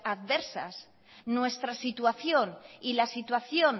adversas nuestra situación y la situación